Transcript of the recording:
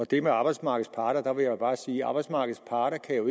det med arbejdsmarkedets parter vil jeg bare sige at arbejdsmarkedets parter jo